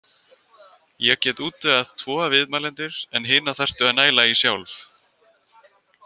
Ég get útvegað tvo viðmælendur en hina þarftu að næla í sjálf.